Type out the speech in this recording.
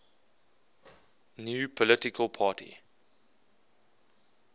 new political party